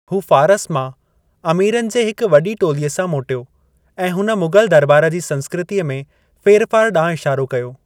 हू फारस मां, अमीरनि जे हिक वॾी टोलीअ सां मोटियो ऐं हुन मुग़ल दरॿार जी संस्कृतिअ में फेरफार ॾांहुं इशारो कयो।